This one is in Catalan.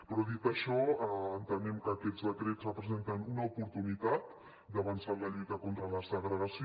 però dit això entenem que aquests decrets representen una oportunitat d’avançar en la lluita contra la segregació